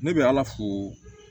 Ne bɛ ala fo